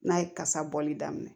N'a ye kasa bɔli daminɛ